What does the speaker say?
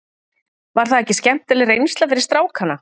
Var það ekki skemmtileg reynsla fyrir strákana?